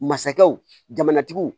Masakɛw jamana tigiw